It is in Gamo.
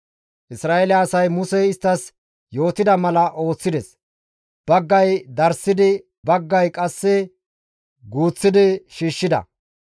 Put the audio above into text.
Isra7eele asay Musey isttas yootida mala ooththides; baggay darssidi baggay qasse guuththidi shiishshida.